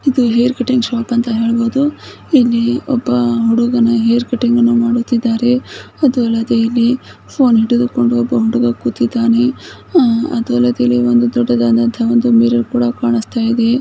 ಇದು hair cutting shop ಅಂತ ಹೇಳಬಹುದು. ಇಲ್ಲಿ ಒಬ್ಬ ಹುಡುಗನ ಹೇರ್ ಕಟ್ಟಿಂಗನ್ನು ಮಾಡುತ್ತಿದ್ದಾರೆ. ಅದೂ ಅಲ್ಲದೆ ಇಲ್ಲೀ ಫೋನ್ ಹಿಡಿದುಕೊಂಡು ಒಬ್ಬ ಹುಡುಗ ಕೂತಿದ್ದಾನೆ. ಅದೂ ಅಲ್ಲದೆ ಇಲ್ಲಿ ಒಂದು ದೊಡ್ಡದಾದಂತಾ ಮಿರರ್ ಕೂಡ ಕಾಣಿಸ್ತಾ ಇದೆ.